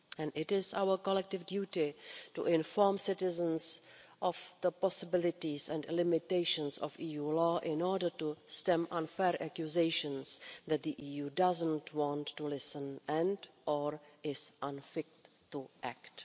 It is our collective duty to inform citizens of the possibilities and limitations of EU law in order to stem unfair accusations that the EU doesn't want to listen and or is unfit to act.